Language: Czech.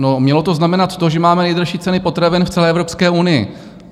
No, mělo to znamenat to, že máme nejdražší ceny potravin v celé Evropské unii.